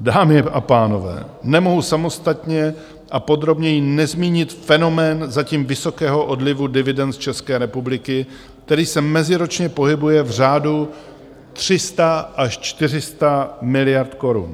Dámy a pánové, nemohu samostatně a podrobněji nezmínit fenomén zatím vysokého odlivu dividend z České republiky, který se meziročně pohybuje v řádu 300 až 400 miliard korun.